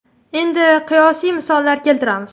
Endi qiyosiy misollar keltiramiz.